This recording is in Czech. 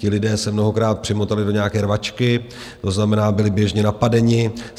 Ti lidé se mnohokrát přimotali do nějaké rvačky, to znamená, byli běžně napadeni.